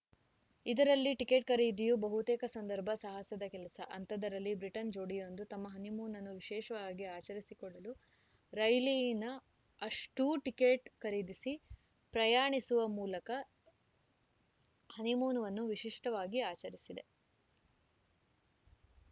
ಇದರಲ್ಲಿ ಟಿಕೆಟ್‌ ಖರೀದಿಯೂ ಬಹುತೇಕ ಸಂದರ್ಭ ಸಾಹಸದ ಕೆಲಸ ಅಂಥದ್ದರಲ್ಲಿ ಬ್ರಿಟನ್‌ನ ಜೋಡಿಯೊಂದು ತಮ್ಮ ಹನಿಮೂನ್‌ ಅನ್ನು ವಿಶೇಷವಾಗಿ ಆಚರಿಸಿಕೊಳ್ಳಲು ರೈಲಿನ ಅಷ್ಟೂಟಿಕೆಟ್‌ ಖರೀದಿಸಿ ಪ್ರಯಾಣಿಸುವ ಮೂಲಕ ಹನಿಮೂನ್‌ ಅನ್ನು ವಿಶಿಷ್ಟವಾಗಿ ಆಚರಿಸಿದೆ